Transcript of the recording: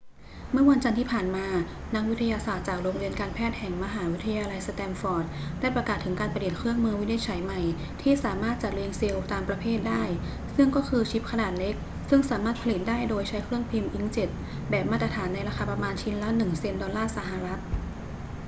เมื่อวันจันทร์ที่ผ่านมา นักวิทยาศาสตร์จากโรงเรียนการแพทย์แห่งมหาวิทยาลัยสแตนฟอร์ดได้ประกาศถึงการประดิษฐ์เครื่องมือวินิจฉัยใหม่ที่สามารถจัดเรียงเซลล์ตามประเภทได้ ซึ่งก็คือชิปขนาดเล็กซึ่งสามารถผลิตได้โดยใช้เครื่องพิมพ์อิงค์เจ็ตแบบมาตรฐานในราคาประมาณชิ้นละหนึ่งเซ็นต์ดอลลาร์สหรัฐ